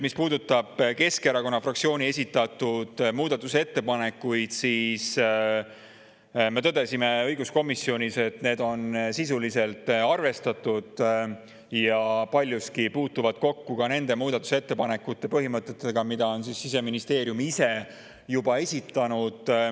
Mis puudutab Keskerakonna fraktsiooni esitatud muudatusettepanekuid, siis me tõdesime õiguskomisjonis, et neid on sisuliselt arvestatud ja paljuski kokku nende muudatusettepanekute põhimõtetega, mille Siseministeerium ise esitas.